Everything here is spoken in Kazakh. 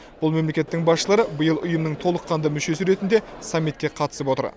бұл мемлекеттің басшылары биыл ұйымның толыққанды мүшесі ретінде саммитке қатысып отыр